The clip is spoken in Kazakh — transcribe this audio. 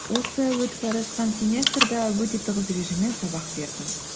осы өтіп бара жатқан семестрде өте тығыз режиммен сабақ бердім